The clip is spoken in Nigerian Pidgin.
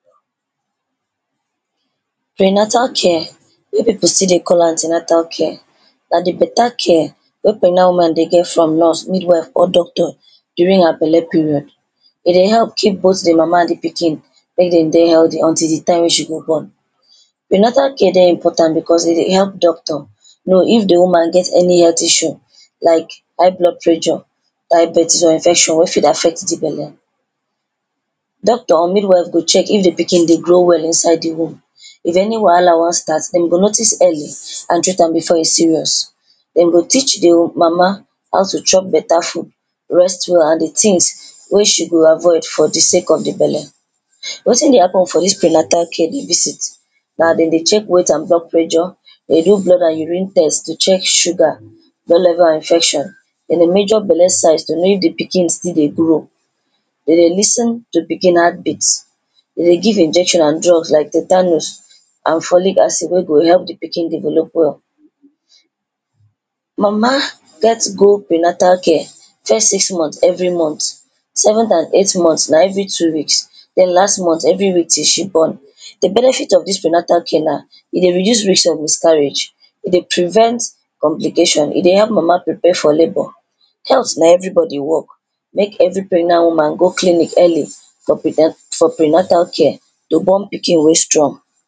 Prenatal care wey people still dey call an ten atal care na di better care wey pregnant woman dey get from nurse, midwife or doctor during her belle period. E dey help keep both di mama and pikin make dem dey healthy until di time wey she go born. Prenatal care dey important because e dey help doctor know if di woman get any health issue like high blood pressure, diabetes or infection wey fit affect di belle. Doctor or midwife go check if di pikin dey grow well inside di womb. If any wahala wan start, dem go notice early and treat am before e serious. Dem go teach di mama how to chop better food, rest well and di tins wey she go avoid for di sake of di belle. Wetin dey happen for dis prenatal care visit na dem dey check weight and blood pressure, dey do blood and urine test to check sugar, infection. Dem dey measure belle size to know if di pikin still dey grow. Dem dey lis ten to pikin heartbeat. Dem dey give injection and drug like tetanus and folic acid wey go help di pikin develop well. Mama gats go prenatal care first six months every month, seventh and eighth month na every two weeks, then last month every week till she born. Di benefit of dis prenatal care na: e dey reduce risk of miscarriage, e dey prevent complication, e dey help mama prepare for labour. Health na everybody work. Make every pregnant woman go clinic early for for prenatal care to born pikin wey strong.